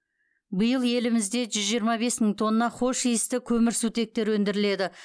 биыл елімізде жүз жиырма бес мың тонна хош иісті көмірсутектер өндіріледі